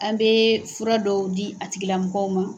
An bɛ fura dɔw di a tigilamɔgɔw ma.